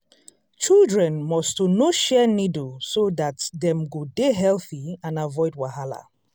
children must to no share needle so dat dem go dey healthy and avoid wahala.